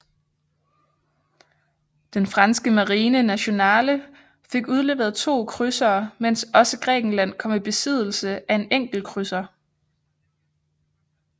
Den franske Marine Nationale fik udleveret to krydsere mens også Grækenland kom i besiddelse af en enkelt krydser